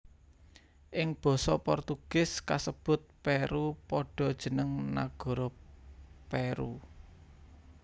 Ing basa Portugis kasebut peru padha jeneng nagara Peru